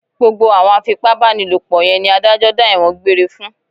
Gbogbo àwọn afipábánilòpọ̀ yẹn ni adájọ́ dá ẹ̀wọ̀n gbére fún